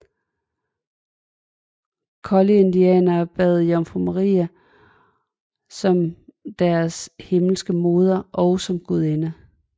Collyridianere tilbad Jomfru Maria som deres himmelske moder og som gudinde